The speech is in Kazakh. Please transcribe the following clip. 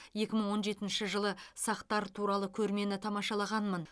екі мың он жетінші жылы сақтар туралы көрмені тамашаланғанмын